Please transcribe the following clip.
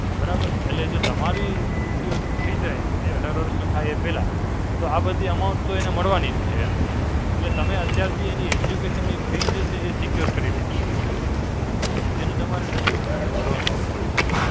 બરાબર? એટલે જો તમારી મૃત્યુ થઈ જાય એ અઢાર વર્ષનો થાય એ પહેલા તો આ બધી amount તો એને મળવાની જ છે એમ. એટલે તમે અત્યારથી એની education ની free જે છે એ Secure કરી લીધી. કે જેનો તમારે નજીવો premium ભરવાનો આવતું હોય.